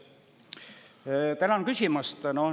Tänan küsimast!